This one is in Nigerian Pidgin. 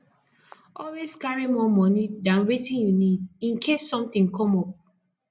always carry more money than wetin you need in case something come up